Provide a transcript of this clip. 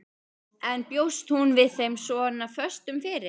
En bjóst hún við þeim svona föstum fyrir?